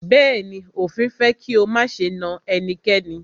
Bẹ̀ẹ́ni, òfin fẹ́ kí o máṣe na ẹnikẹ́ni.